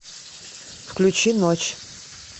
включи ночь